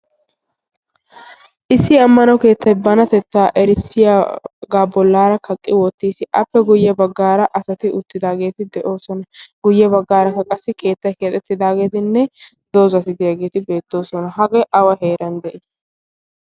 issi ammana keettai banatettaa erissiyaagaa bollaara kaqqi wottiis. appe guyye baggaara asati uttidaageeti de7oosona. guyye baggaaraka qassi keettai keaxettidaageetinne doozatidiyaageeti beettoosona. hagee awa heeran de7ii?